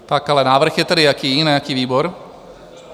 Pak ale návrh je tedy jaký, na jaký výbor?